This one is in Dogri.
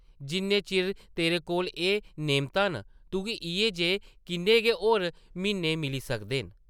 जिन्ने चिर तेरे कोल एह् नेमतां न, तुगी इʼयै जेह् किन्ने गै होर म्हीने मिली सकदे न ।